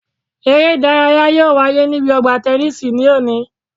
Eré ìdárayá yóò wáyé níbi ọgbà tẹnísì ní òní